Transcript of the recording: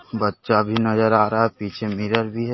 बच्चा भी नजर आ रहा है। पीछे मिरर भी है।